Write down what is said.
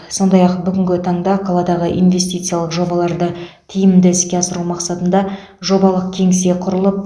сондай ақ бүгінгі таңда қаладағы инвестициялық жобаларды тиімді іске асыру мақсатында жобалық кеңсе құрылып